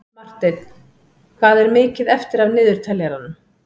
Marteinn, hvað er mikið eftir af niðurteljaranum?